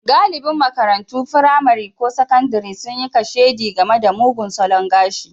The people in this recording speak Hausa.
Galibin makarantun firamare ko sakandare sun yi kashedi game da mugun salon gashi.